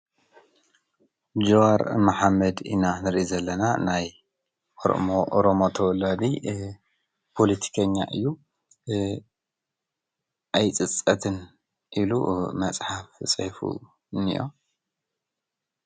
ጅዋር መሓመድ ኢና ንርእይ ዘለና ናይ አሮሞ ኦሮሞ ተዋላዲ ፖለቲከኛ እዩ። ኣይፅፀትን ኢሉ መፅሓፍ ፂሒፉ እኒኦ።